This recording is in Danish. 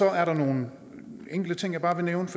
er der nogle enkelte ting jeg bare vil nævne